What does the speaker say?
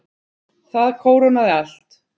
Það kórónaði allt.